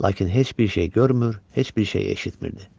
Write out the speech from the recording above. Lakin heç bir şey görmür, heç bir şey eşitmirdi.